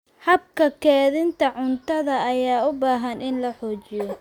Habka kaydinta cuntada ayaa u baahan in la xoojiyo.